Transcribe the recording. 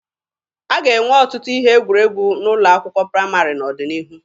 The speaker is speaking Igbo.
A ga-enwe ọtụtụ ihe egwuregwu n'ụlọ akwụkwọ praịmarị n'ọdịnihu